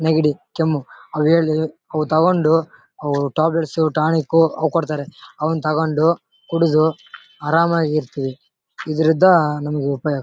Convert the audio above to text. ನೆಗಡಿ ಕೆಮ್ಮು ಅವು ತಗೊಂಡು ಅವು ಟ್ಯಾಬ್ಲೇಟ್ಸ್ ಟಾನಿಕ್ ಅವು ಕೊಡ್ತಾರೆ ಅವುನ್ನ ತಗೊಂಡು ಕುಡ್ದು ಹರಾಮಾಗಿ ಇರ್ತಿವಿ ಇದರಿಂದ ನಮಿಗೆ ಉಪಯೋಗ --